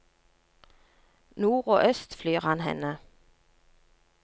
Nord og øst flyr han henne.